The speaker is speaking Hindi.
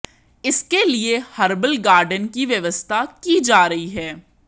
इसके लिए हर्बल गार्डेन की व्यवस्था की जा रही है